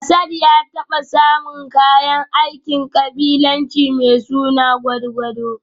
Asad ya taba samun kayan aikin kabilanci mai suna gudgudu